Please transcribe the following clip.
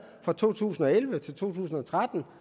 fra to tusind og elleve til to tusind og tretten